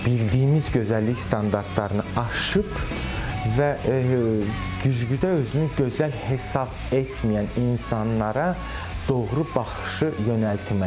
Bildiyimiz gözəllik standartlarını aşıb və güzgüdə özünü gözəl hesab etməyən insanlara doğru baxışı yönəltmək.